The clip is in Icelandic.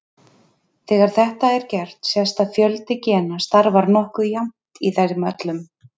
Þegar þetta er gert sést að fjöldi gena starfar nokkuð jafnt í þeim öllum.